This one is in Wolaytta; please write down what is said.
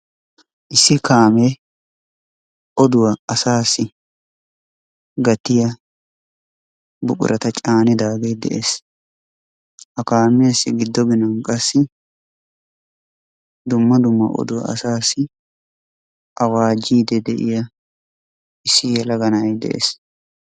issi kaamee oduwa asaassi gattiya buqurata caanidaagee dees ha kaamiyassi giddo ginnan qassi dumma dumma oduwa asaassi awaajiidi de'iya issi yelaga na'ay de'ees.